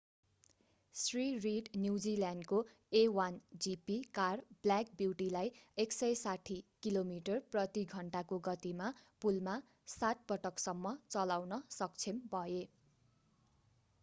Shri Reed न्युजिल्यान्डको a1gp car black ब्युटीलाई 160 kilometre प्रति घण्टाको गतिमा पुलमा सात पटकसम्म चलाउन सक्षम भए